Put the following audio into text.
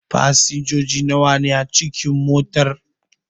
Fasinjoji nawa ne a cikin motar?